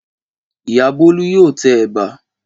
Ìyá Bólú yóò tẹ ẹ̀bà.